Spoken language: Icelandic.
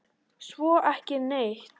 Svo ekki neitt.